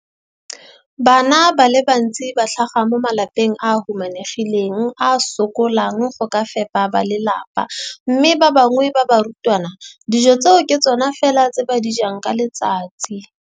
Bana ba le bantsi ba tlhaga mo malapeng a a humanegileng a a sokolang go ka fepa ba lelapa mme ba bangwe ba barutwana, dijo tseo ke tsona fela tse ba di jang ka letsatsi.